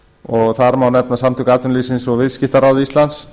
og þar má nefna samtök atvinnulífsins og viðskiptaráð íslands